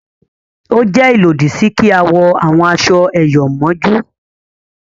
o jé ilodi sí kí a wọ àwọn aṣọ eyọ mójú